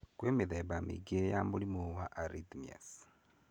Kwĩ mithemba mĩingĩ ya mũrimũ wa arrhythmias.